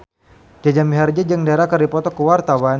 Jaja Mihardja jeung Dara keur dipoto ku wartawan